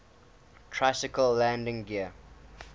tricycle landing gear